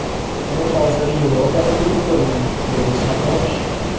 Bu hozir Yevropada urf bo‘lgan”, – dedi sartarosh.